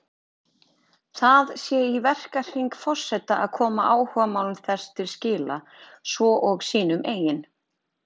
Það sé í verkahring forseta að koma áhugamálum þess til skila, svo og sínum eigin.